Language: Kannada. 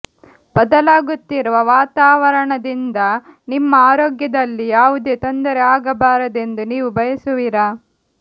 ಬದಲಾಗುತ್ತಿರುವ ವಾತಾವರಣದಿಂದ ನಿಮ್ಮ ಆರೋಗ್ಯದಲ್ಲಿ ಯಾವುದೇ ತೊಂದರೆ ಆಗಬಾರದೆಂದು ನೀವು ಬಯಸುವಿರಾ